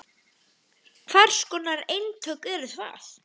Hvers konar eintök eru það?